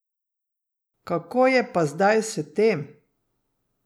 Kako je pa zdaj s tem?